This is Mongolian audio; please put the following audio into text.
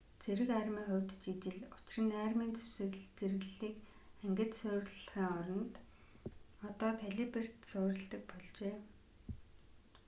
цэрэг армийн хувьд ч ижил учир нь армийн зэрэглэлийг ангид суурилахын оронд одоо калиберт суурилдаг болжээ